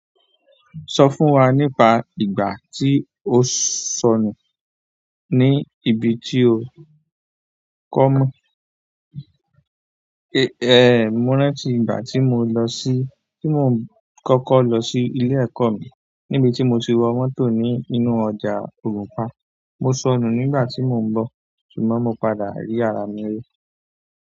Sọ fún wa nípa ìgbà tí o sọnù ní ibi tí o kọ́mọ. Mo rántí ìgbà tí mo lọ sí-- tí mò ń kọ́kọ́ lọ sí ilé-ẹ̀kọ́ mi, níbi tí mo ti wọ mọ́tò ni nínú ọjà Ògùnpa. Mo sọnù nígbà tí mò ń bọ̀, ṣùgbọ́n mo padà rí ara mi rí.